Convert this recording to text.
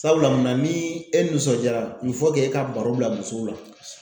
Sabula munna ni e nisɔndiyara e ka baro bila musow la